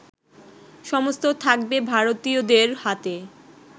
সমস্ত থাকবে ভারতীয়দের হাতে